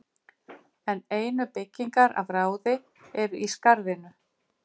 en einu byggingar af ráði eru í skarðinu